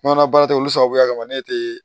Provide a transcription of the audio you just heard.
Kɔnɔla baara tɛ olu sababuya kama ne tɛ